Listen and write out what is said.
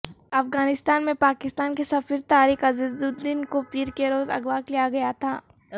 افغانستان میں پاکستان کے سفیر طارق عزیزالدین کو پیر کے روز اغوا کیا گیا تھا